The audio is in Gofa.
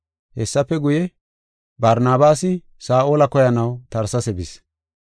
Hessafe guye, Barnabaasi Saa7ola koyanaw Tarsesa bis.